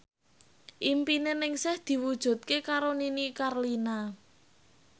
impine Ningsih diwujudke karo Nini Carlina